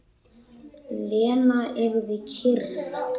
Lena yrði kyrr.